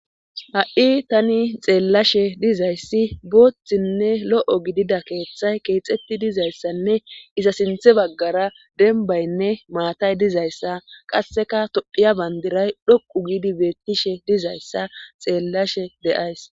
ha7i tani xeellashe dizayssi booththinne lo7o gidida keeththay keexetti dizayssanne iza sinthe baggara denbaynne maatay dizayssa qasseka todhiya bandiray dhoqu giidi beettishe dizayssa xeellashe deyays